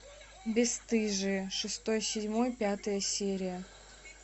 бесстыжие шестой седьмой пятая серия